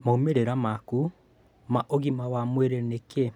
Maumĩrĩra maku ma ũgima wa mwĩrĩ nĩ kĩĩ?